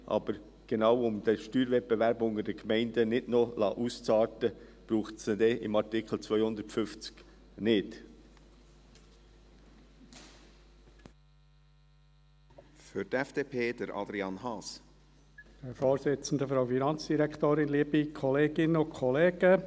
Aber genau, um den Steuerwettbewerb unter den Gemeinden nicht noch ausarten zu lassen, braucht es ihn dann im Artikel 250 nicht.